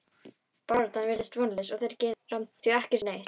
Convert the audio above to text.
Baráttan virðist vonlaus og þeir gera því ekki neitt.